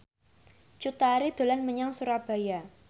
Cut Tari dolan menyang Surabaya